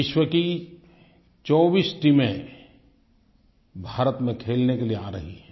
विश्व की 24 टीमें भारत में खेलने के लिए आ रही हैं